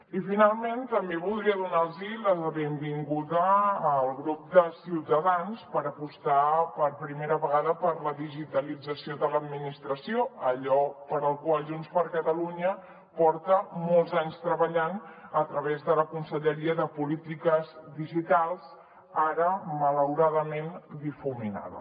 i finalment també voldria donar la benvinguda al grup de ciutadans per apostar per primera vegada per la digitalització de l’administració allò per què junts per catalunya porta molts anys treballant a través de la conselleria de polítiques digitals ara malauradament difuminada